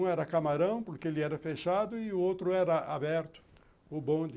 Um era camarão, porque ele era fechado, e o outro era aberto, o bonde.